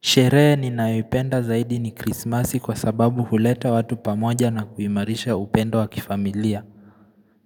Sherehe ninayoipenda zaidi ni krismasi kwa sababu huleta watu pamoja na kuimarisha upendo wa kifamilia